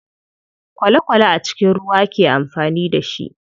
Kwale kwale a cikin ruwa ake amfani da shi.